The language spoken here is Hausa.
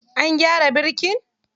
An gyara birkin?